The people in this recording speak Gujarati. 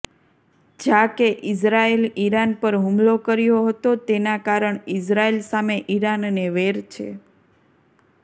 જાકે ઇઝરાયલે ઈરાન પર હુમલો કર્યો હતો તેના કારણ ઈઝરાયલ સામે ઈરાનને વેર છે